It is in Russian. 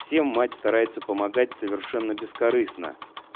всем мать старается помогать совершенно бескорыстно